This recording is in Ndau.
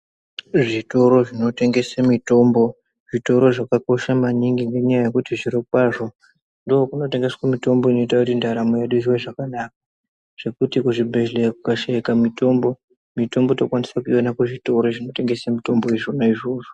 Zvitoro zvino tengese mitombo zvitoro zvakakosha maningi ngenya yekuti zviro kwazvo ndokuno tengeswa mutombo inoota kuti ndaramo yedu izwe zvanaka zvekuti ku zvibhedhleya kuka shaika mitombo mitombo tokwanisa kuyiona ku zvitoro zvino tengese mitombo izvona izvozvo.